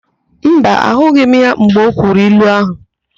Mba, ahụghị m ya mgbe o kwuru ilu áhụ̀.